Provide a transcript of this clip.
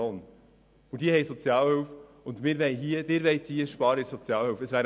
Diese beziehen Sozialhilfe, und Sie wollen bei der Sozialhilfe sparen.